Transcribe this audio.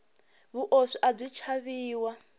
vuoswi abyi chaviwa